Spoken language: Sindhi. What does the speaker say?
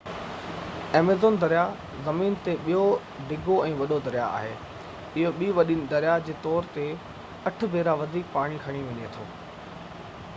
ايميزون دريا زمين تي ٻيو ڊگهو ۽ وڏو دريا آهي اهو ٻي وڏي دريا جي طور تي 8 ڀيرا وڌيڪ پاڻي کڻي وڃي ٿو